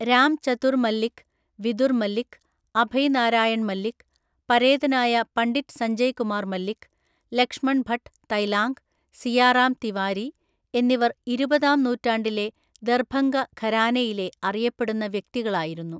രാം ചതുർ മല്ലിക്, വിദുർ മല്ലിക്, അഭയ് നാരായൺ മല്ലിക്, പരേതനായ പണ്ഡിറ്റ് സഞ്ജയ് കുമാർ മല്ലിക്, ലക്ഷ്മൺ ഭട്ട് തൈലാംഗ്, സിയാറാം തിവാരി എന്നിവർ ഇരുപതാം നൂറ്റാണ്ടിലെ ദർഭംഗ ഘരാനയിലെ അറിയപ്പെടുന്ന വ്യക്തികളായിരുന്നു.